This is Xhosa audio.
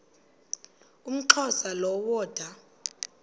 umxhosa lo woda